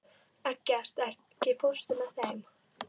Eggert, ekki fórstu með þeim?